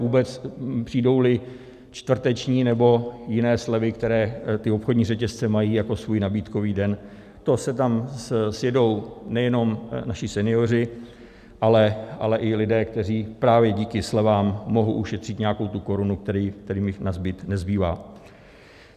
Vůbec, přijdou-li čtvrteční nebo jiné slevy, které ty obchodní řetězce mají jako svůj nabídkový den, to se tam sjedou nejenom naši senioři, ale i lidé, kteří právě díky slevám mohou ušetřit nějakou tu korunu, která jim nazbyt nezbývá.